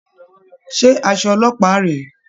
Ṣé aṣọ ọlọ́pàá rèé?